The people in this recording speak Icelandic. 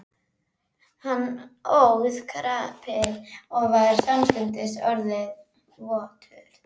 Hann óð krapið og var samstundis orðinn votur.